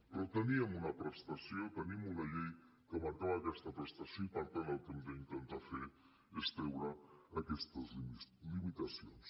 però teníem una prestació tenim una llei que marcava aquesta prestació i per tant el que hem d’intentar fer és treure aquestes limitacions